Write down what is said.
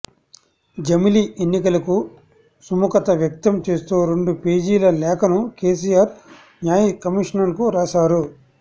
జమిలి ఎన్నికలకు సుముఖత వ్యక్తం చేస్తూ రెండు పేజీల లేఖను కేసీఆర్ న్యాయ కమిషన్కు రాశారు